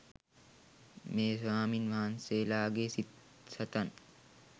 මේ ස්වාමීන් වහන්සේලාගේ සිත් සතන්